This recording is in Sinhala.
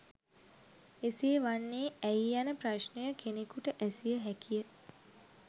එසේ වන්නේ ඇයි යන ප්‍රශ්නය කෙනෙකුට ඇසිය හැකියි.